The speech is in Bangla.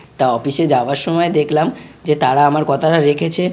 তা অফিস -এ যাবার সময় দেখলাম যে তারা আমার কথাটা রেখেছে।